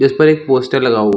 जिस पर एक पोस्टर लगा हो।